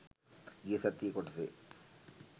ගිය සතියේ කොටසේ